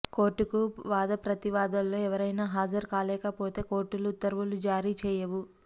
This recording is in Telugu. కోర్టుకు వాదప్రతివాదుల్లో ఎవరైనా హాజరు కాలేకపోతే కోర్టులు ఉత్తర్వులు జారీ చేయవు